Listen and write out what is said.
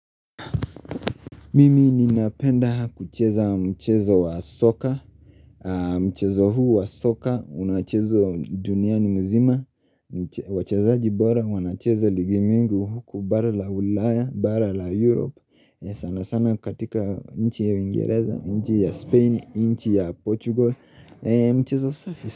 Mimi ninapenda kucheza mchezo wa soka, mchezo huu wa soka, unachezwa duniani mzima, wachezaji bora, wanacheza ligi mingi huku, bara la ulaya, bara la Europe, sana sana katika nchi ya uingereza, nchi ya Spain, nchi ya Portugal, mchezo safi.